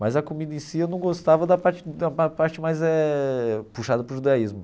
Mas a comida em si, eu não gostava da parte da pa parte eh mais puxada para o judaísmo.